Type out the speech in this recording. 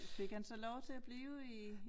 Fik han så lov til at blive i